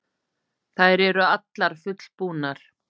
Þær eru allar fullbúnar